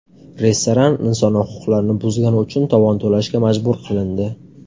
Restoran inson huquqlarini buzgani uchun tovon to‘lashga majbur qilindi.